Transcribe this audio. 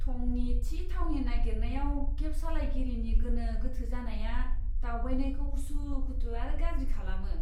थंनि थि थावनि नागिरनायाव केब सालायगिरिनि गोनो गोथो जानाया दावबायनायखौ उसुखुथु आरो गाज्रि खालामो।